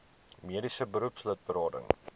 mediese beroepslid berading